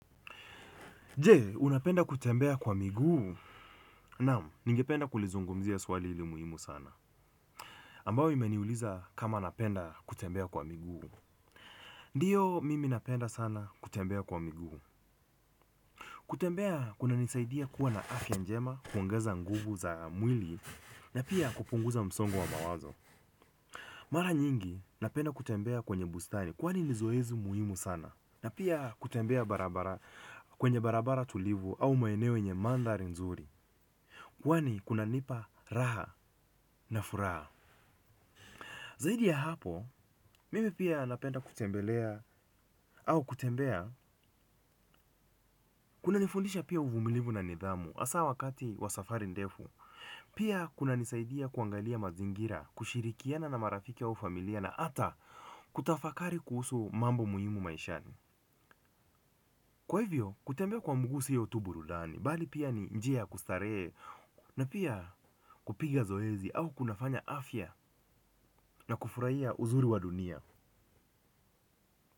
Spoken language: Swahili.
Jee, unapenda kutembea kwa miguu? Namu, ningependa kulizungumzia swali hili muhimu sana. Ambao imeniuliza kama napenda kutembea kwa miguu? Ndiyo, mimi napenda sana kutembea kwa miguu. Kutembea, kunanisaidia kuwa na afya njema, kuongeza nguvu za mwili, na pia kupunguza msongu wa mawazo. Mara nyingi napenda kutembea kwenye bustani kwani ni zoezi muhimu sana. Na pia kutembea barabara, kwenye barabara tulivu au maeneo yenye mandhari nzuri. Kwani kunanipa raha na furaha zaidi ya hapo, mimi pia napenda kutembelea au kutembea kuna nifundisha pia uvumilivu na nidhamu hasa wakati wa safari ndefu. Pia kuna nisaidia kuangalia mazingira, kushirikiana na marafika au familia na hata kutafakari kuhusu mambo muhimu maishani. Kwa hivyo, kutembea kwa mguu sio tu burudani, bali pia ni njia kustarehe na pia kupiga zoezi au kunafanya afya na kufurahia uzuri wa dunia.